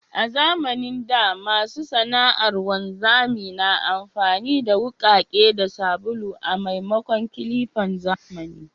A zamanin da, masu sana’ar wanzami na amfani da wukake da sabulu a maimakon clippan zamani.